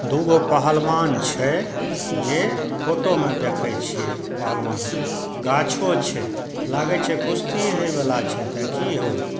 दु गो पहलमान छै जे फोटो मे देखय छीये पहलमान के गाछो छै लागे छै कुश्ती हेय बला छै एते की हो---